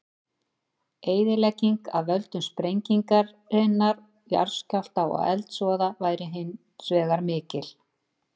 Eyðilegging af völdum sprengingarinnar, jarðskjálfta og eldsvoða væri hins vegar mikil.